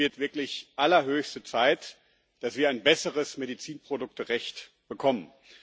Es wird wirklich allerhöchste Zeit, dass wir ein besseres Medizinprodukterecht bekommen.